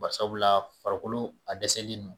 Bari sababu farikolo a dɛsɛlen no